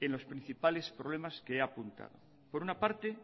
en los principales problemas que he apuntado por una parte